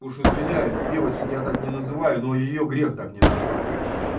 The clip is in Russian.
уж извиняюсь девочек я так не называю но её грех так не назвать